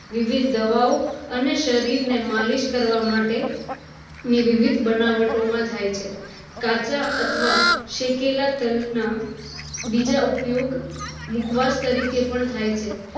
વિવિધ દવાઓ અને શરીર ને માલીશ કરવા માટે ની વિવિધ બનાવટોમાં થાય છે કાચા અથવા શેકેલા તલ ના બીજા ઉપયોગ મુખવાસ તરીકે પણ થાય છે